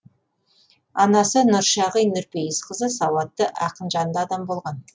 анасы нұршағи нұрпейісқызы сауатты ақынжанды адам болған